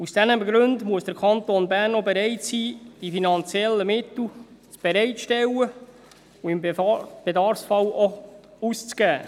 Aus diesen Gründen muss der Kanton Bern auch bereit sein, die finanziellen Mittel bereitzustellen und im Bedarfsfall auch auszugeben.